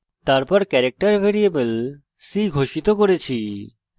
তারপর character variable c ঘোষিত করেছি